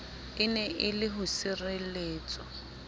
ene e le ho sireletswa